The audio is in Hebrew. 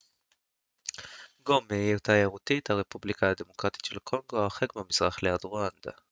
גומה היא עיר תיירותית הרפובליקה הדמוקרטית של קונגו הרחק במזרח ליד רואנדה